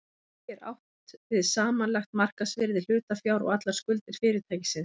Með því er átt við samanlagt markaðsvirði hlutafjár og allar skuldir fyrirtækisins.